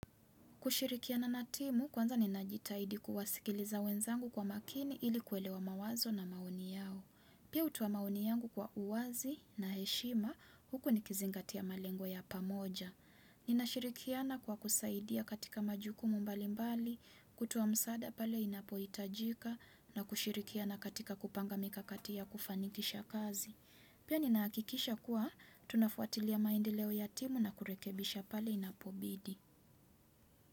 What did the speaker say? Kushirikiana na timu, kwanza ninajitaidi kuwasikiliza wenzangu kwa makini ili kuelewa mawazo na maoni yao. Pia hutuoa maoni yangu kwa uwazi na heshima, huku nikizingatia malengo ya pamoja. Ninashirikiana kwa kusaidia katika majukumu mbali mbali, kutoa msaada pale inapohitajika, na kushirikiana katika kupanga mikakati ya kufanikisha kazi. Pia ninahakikisha kuwa tunafuatilia maendeleo ya timu na kurekebisha pale inapobidi.